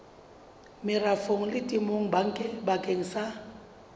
merafong le temong bakeng sa